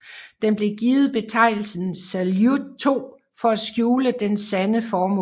Den blev givet betegnelsen Saljut 2 for at skjule dens sande formål